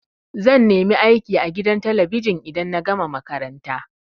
Zan nemi aiki a gidan talabijin idan na gama makaranta.